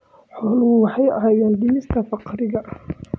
Xooluhu waxay caawiyaan dhimista faqriga.